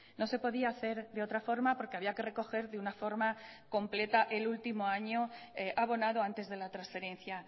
no se podía hacer de otra forma porque había que recoger de una forma completa el último año abonado antes de la transferencia